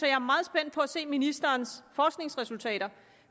er meget spændt på at se ministerens forskningsresultater